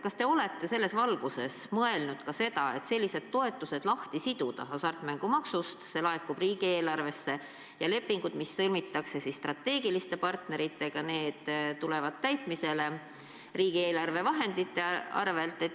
Kas te olete selles valguses mõelnud ka seda, et sellised toetused tuleks lahti siduda hasartmängumaksust, nii et see laekub riigieelarvesse, ja lepingud, mis sõlmitakse strateegiliste partneritega, tulevad täitmisele riigieelarve vahendite arvel?